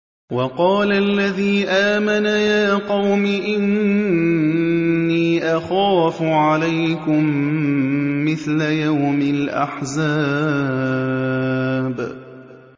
وَقَالَ الَّذِي آمَنَ يَا قَوْمِ إِنِّي أَخَافُ عَلَيْكُم مِّثْلَ يَوْمِ الْأَحْزَابِ